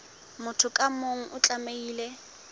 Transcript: motho ka mong o tlamehile